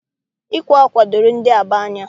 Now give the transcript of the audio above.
Ịkwa ákwà doro ndị Aba anya